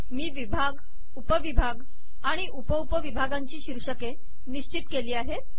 मी विभाग उपविभाग आणि उप उप विभागांची शीर्षके निश्चित केली आहेत